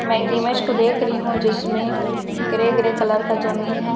मैं एक इमेज को देख रही हूं जिसमें ग्रे ग्रे कलर का जमीन है।